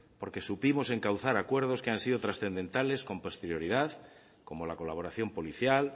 porque supimos encauzar acuerdos que han sido transcendentales con posterioridad como la colaboración policial